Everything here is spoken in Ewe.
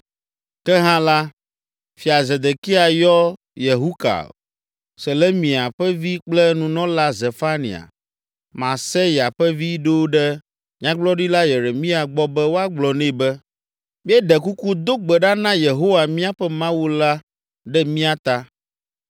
Ke hã la, Fia Zedekia dɔ Yehukal, Selemia ƒe vi kple nunɔla Zefania, Maaseya vi ɖo ɖe Nyagblɔɖila Yeremia gbɔ be woagblɔ nɛ be: “Míeɖe kuku, do gbe ɖa na Yehowa míaƒe Mawu la ɖe mía ta.”